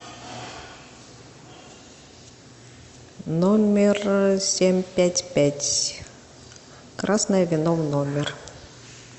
номер семь пять пять красное вино в номер